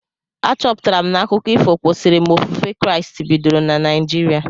A chọpụtara m na akụkọ ifo kwesịrị mgbe ofufe Kraịst bidoro na Naijiria